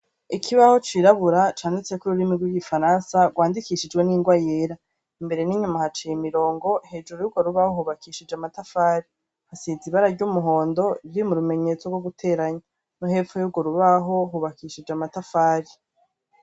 Ikibaho cirabura canditseko ururimi rwigifaransa rwandikishijwe nirwa yera imbere ninyuma haciye imirongo hejuru urwo rubaho hubakishijwe amatafari hasize ibara ryumuhondo vyurumenyetso rwo guteranya nohepfo yurwo rubaho hubakishijwe amatafari